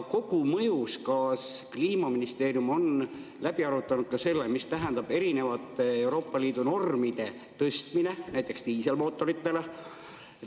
Kas kogumõjus Kliimaministeerium on läbi arutanud ka selle, mis tähendab erinevate Euroopa Liidu normide tõstmine näiteks diiselmootoritele?